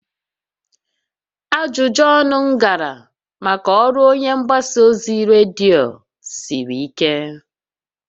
Ajụjụ ọnụ m gara maka ọrụ onye mgbasa ozi redio siri ike